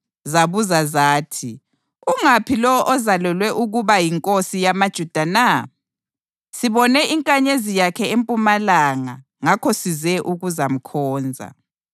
zabuza zathi, “Ungaphi lowo ozalelwe ukuba yinkosi yamaJuda na? Sibone inkanyezi yakhe empumalanga ngakho size ukuzamkhonza.”